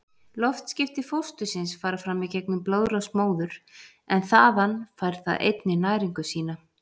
Loftskipti fóstursins fara fram í gegnum blóðrás móður, en þaðan fær það einnig næringu sína.